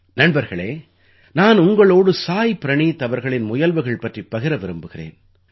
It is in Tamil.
நண்பர்களே நான் உங்களோடு சாய் பிரணீத் அவர்களின் முயல்வுகள் பற்றிப் பகிர விரும்புகிறேன்